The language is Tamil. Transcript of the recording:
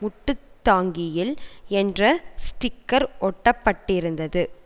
முட்டுத் தாங்கியில் என்ற ஸ்டிக்கர் ஒட்டப்பட்டிருந்தது